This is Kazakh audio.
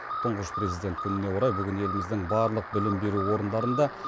тұңғыш президент күніне орай бүгін еліміздің барлық білім беру орындарында